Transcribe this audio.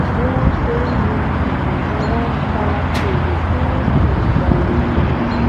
bí wọn ṣe ń lu ìlú ni wọn fọn fèrè tí wọn sì ń kọrin